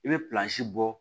I bɛ bɔ